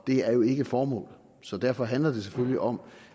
det er jo ikke formålet så derfor handler det selvfølgelig om